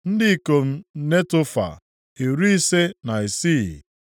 Ndị ikom Netofa, iri ise na isii (56).